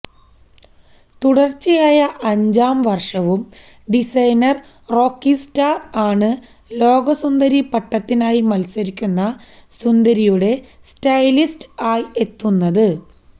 തുടർച്ചയായ അഞ്ചാം വർഷവും ഡിസൈനർ റോക്കി സ്റ്റാർ ആണ് ലോക സുന്ദരി പട്ടത്തിനായി മത്സരിക്കുന്ന സുന്ദരിയുടെ സ്റ്റൈലിസ്റ്റ് ആയ് എത്തുന്നത്